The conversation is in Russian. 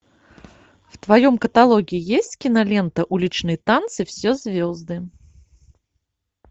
в твоем каталоге есть кинолента уличные танцы все звезды